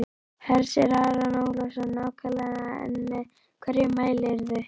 Hersir Aron Ólafsson: Nákvæmlega en með hverju mælirðu?